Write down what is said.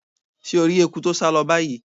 Se o ri eku to sa lo bayii?